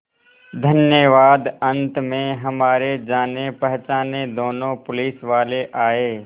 धन्यवाद अंत में हमारे जानेपहचाने दोनों पुलिसवाले आए